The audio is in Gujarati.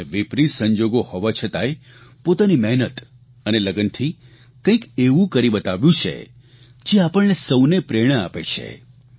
અને વિપરીત સંજોગો હોવા છતાંય પોતાની મહેનત અને લગનથી કંઇક એવું કરી બતાવ્યું છે જે આપણને સૌને પ્રેરણા આપે છે